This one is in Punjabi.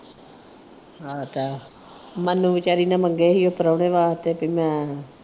ਉਹ ਤਾਂ ਹੈ। ਮਨੂੰ ਵਿਚਾਰੀ ਨੰ ਮੰਗੇ ਸੀ ਉਹ ਪ੍ਰਾਹੁਣੇ ਵਾਸਤੇ ਭੀ ਮੈਂ